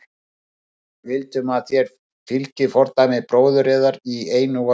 Við viljum að þér fylgið fordæmi bróður yðar í einu og öllu.